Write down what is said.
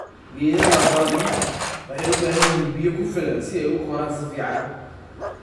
Geedaha bamia waxay u baahan yihiin biyaha ku filan si ay u koraan si fiican.